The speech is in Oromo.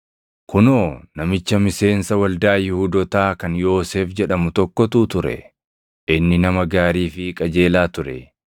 Kunoo namicha miseensa waldaa Yihuudootaa kan Yoosef jedhamu tokkotu ture; inni nama gaarii fi qajeelaa ture;